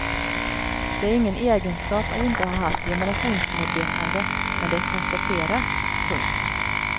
Det är ingen egenskap att inte ha haft generationsmedvetande men det konstateras. punkt